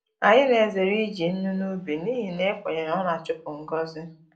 Anyị na-ezere iji nnu n’ubi n’ihi na ekwenyere na ọ na-achupu ngọzi.